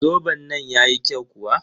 Zoben nan yayi kyau kuwa?